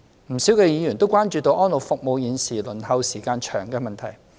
不少議員也關注現時安老服務輪候時間長的問題。